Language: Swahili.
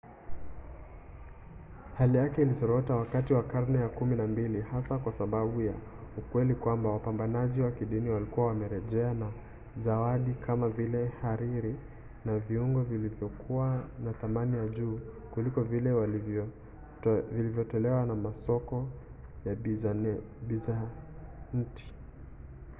hali yake ilizorota wakati wa karne ya kumi na mbili hasa kwa sababu ya ukweli kwamba wapambanaji wa kidini walikuwa wamerejea na zawadi kama vile hariri na viungo vilivyokuwa na thamani ya juu kuliko vile vilivyotolewa na masoko ya bizanti